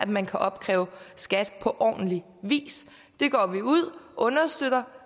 man kan opkræve skat på ordentlig vis det går vi ud og understøtter